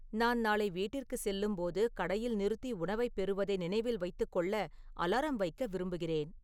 நான் நாளை வீட்டிற்கு செல்லும்போது கடையில் நிறுத்தி உணவைப் பெறுவதை நினைவில் வைத்துக் கொள்ள அலாரம் வைக்க விரும்புகிறேன்